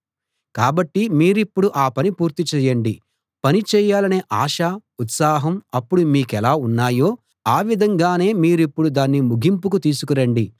కాబట్టి మీరిప్పుడు ఆ పని పూర్తి చేయండి పని చేయాలనే ఆశ ఉత్సాహం అప్పుడు మీకెలా ఉన్నాయో ఆ విధంగానే మీరిప్పుడు దాన్ని ముగింపుకు తీసుకు రండి